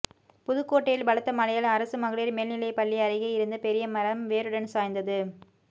புதுக்கோட்டையில் பலத்த மழையால் அரசு மகளிர் மேல்நிலைப் பள்ளி அருகே இருந்த பெரிய மரம் வேருடன் சாய்ந்தது